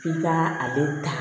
F'i ka ale ta